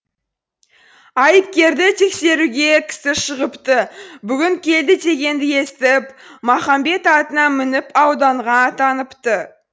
айыпкерді тексеруге кісі шығыпты бүгін келді дегенді естіп мақамбет атына мініп ауданға аттаныпты